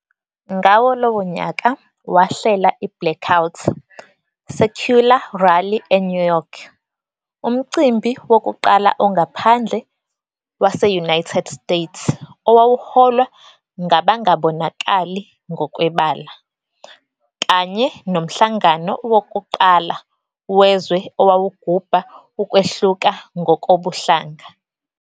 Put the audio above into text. Ngawo lowo nyaka wahlela iBlackout Secular Rally eNew York, umcimbi wokuqala ongaphandle wase-United States owawuholwa ngabangabonakali ngokwebala, kanye nomhlangano wokuqala wezwe owawugubha ukwehluka ngokobuhlanga.